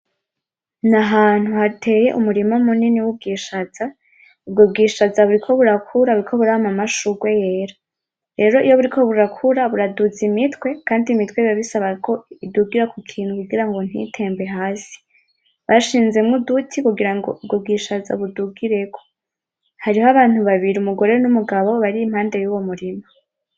N’ahantu hateye umurima munini w'ubwishaza, ubwo bwishaza buriko burakura ,buriko burama amashurwe yera. Rero iyo buriko burakura buraduza imitwe kandi imitwe bibabisaba ko idugira kukintu kugira ntitembe hasi. Bashinzemwo uduti kugira ngo ubwo bwishaza budugireko. Hariho abantu babiri, umugore n'umugabo bari impande yuwo murima.